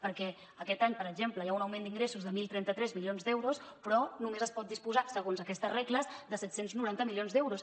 perquè aquest any per exemple hi ha un augment d’ingressos de deu trenta tres milions d’euros però només es pot disposar segons aquestes regles de set cents i noranta milions d’euros